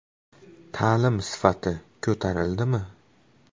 Ta’lim sifati ko‘tarildimi?